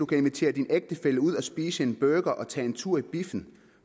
kan invitere sin ægtefælle ud og spise en burger og tage en tur i biffen